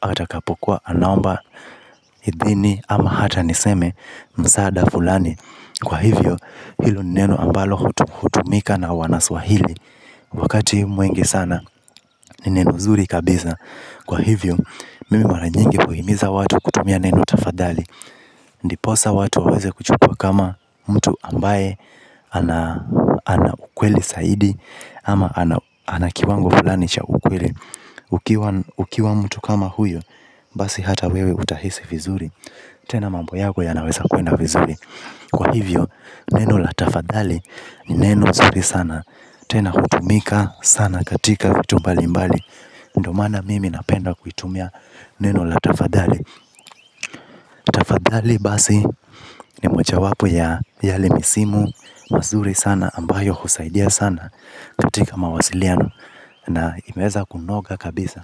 hata akapokuwa anaomba ithini ama hata niseme msaada fulani. Kwa hivyo hilo ni neno ambalo hutumika na wanaswahili. Wakati mwingi sana ni neno zuri kabisa. Kwa hivyo mimi mara nyingi huhimiza watu kutumia neno tafadhali ndiposa watu waweze kuchukua kama mtu ambaye ana. Ana ukweli zaidi. Ama ana kiwango fulani cha ukweli ukiwa ukiwa mtu kama huyo. Basi hata wewe utahisi vizuri. Tena mambo yako yanaweza kwenda vizuri. Kwa hivyo, neno la tafadhali ni neno zuri sana. Tena hutumika sana katika vitu mbali mbali. Ndio maana mimi napenda kuitumia neno la tafadhali. Tafadhali basi ni moja wapo ya yale misimu mazuri sana ambayo husaidia sana katika mawasiliano. Na imeweza kunoga kabisa.